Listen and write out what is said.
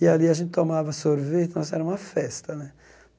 E ali a gente tomava sorvete, nossa era uma festa né.